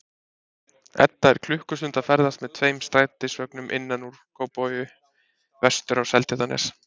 Edda er klukkustund að ferðast með tveim strætisvögnum innan úr Kópavogi vestur á Seltjarnarnes.